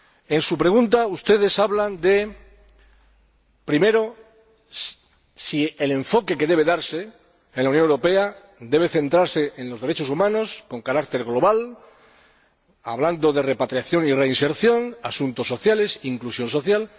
En su pregunta, ustedes hablan primero de si el enfoque que debe darse en la Unión Europea debe centrarse en los derechos humanos, con carácter global, hablando de repatriación y reinserción, asuntos sociales e inclusión social.